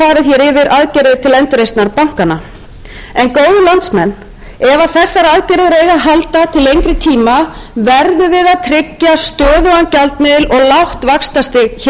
til endurreisnar bankanna en góðir landsmenn ef þessar aðgerðir eiga að halda til lengri tíma verðum við að tryggja stöðugan gjaldmiðil og lágt vaxtastig hér á landi það eru undirstöður atvinnulífsins það er súrefni